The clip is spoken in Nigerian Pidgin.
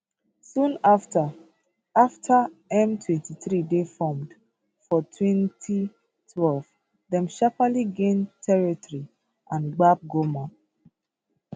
soon afta afta m23 dey formed for 2012 dem sharparly gain territory and gbab goma